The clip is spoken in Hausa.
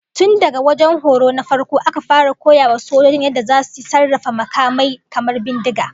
Tun daga wajen horo na farko aka fara koya wa sojojin yadda zasu sarrafa makamai kamar bindiga